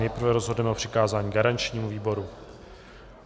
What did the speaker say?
Nejprve rozhodneme o přikázání garančnímu výboru.